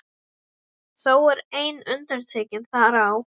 Þó er ein undantekning þar á.